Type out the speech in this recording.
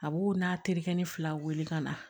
A b'o n'a tereke ni fila weele ka na